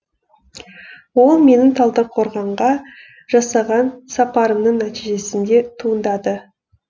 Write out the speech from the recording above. ол менің талдықорғанға жасаған сапарымның нәтижесінде туындады